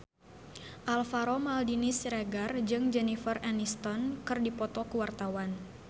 Alvaro Maldini Siregar jeung Jennifer Aniston keur dipoto ku wartawan